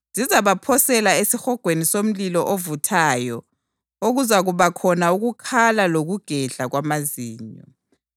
Zizabaphosela esihogweni somlilo ovuthayo okuzakuba khona ukukhala lokugedla kwamazinyo.